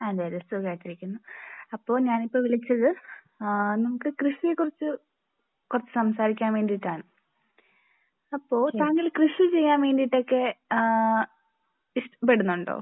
യത്തേഭ അതേ സുഖമായിട്ട് ഇരിക്കുന്നു . അപ്പോൾ ഞാൻ ഇപ്പൊ വിളിച്ചത് നമുക്ക് കൃഷിയെ കുറിച്ച് കുറച്ച് സംസാരിക്കാൻ വേണ്ടിയിട്ടാണ്.അപ്പോൾ താങ്കൾ കൃഷി ചെയ്യാൻ വേണ്ടിയിട്ട് ഒക്കെ ഇഷ്ടപ്പെടുന്നുണ്ടോ?